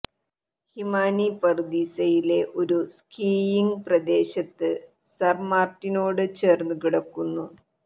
ഹിമാനി പറുദീസയിലെ ഒരു സ്കീയിംഗ് പ്രദേശത്ത് സർമാട്ടിനോട് ചേർന്നു കിടക്കുന്നു